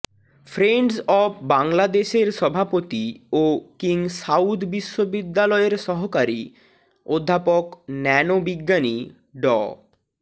friends of বাংলাদেশের সভাপতি ও কিং সাউদ বিশ্ববিদ্যালয়ের সহকারী অধ্যাপক ন্যানো বিজ্ঞানী ড